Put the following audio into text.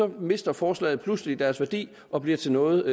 mister forslagene pludselig deres værdi og bliver til noget